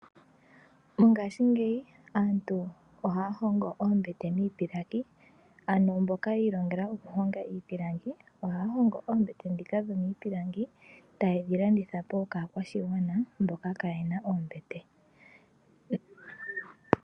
Ngashingeyi aantu ohaya hongo oombete miipilangi, ano mboka yi ilongela oku honga iipilangi ohaya hongo oombete dhika dho miipilangi ta yedhi landitha po kaakwashigwana mboka kaayena oombete.